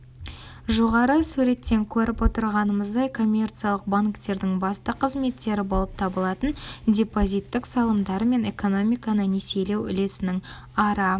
жоғары суреттен көріп отырғанымыздай коммерциялық банктердің басты қызметтері болып табылатын депозиттік салымдар мен экономиканы несиелеу үлесінің ара